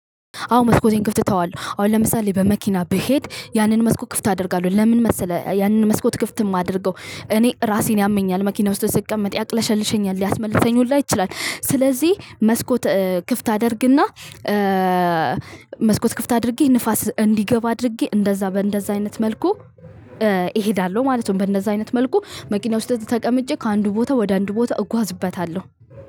አዎ መስኮቴን ክፍት እተዋለው አሁን ለምሳሌ በመኪና ብሄድ ያንን መስኮት ክፍት አደርጋለው ለምን መሰለህ ያንን መስኮት ክፍት የማደርገው እኔ እራሴን ያመኛል መኪና ውስጥ ስቀመጥ ያቅለሸልሸኛል ሊያስመልሰኝ እራሱ ይችላል። ስለዚ መስኮት ክፍት አደርግና መስኮት ክፍት አድርጌ ንፋስ እንዲገባ አድርጌ እንደዛ በእንደዛ አይነት መልኩ እሄዳለሁ ማለት ነው። በእንደዛ አይነት መልኩ መኪና ውስጥ ተቀምጬ ከአንዱ ቦታ ወደ አንዱ ቦታ እጓዝበታለሁ።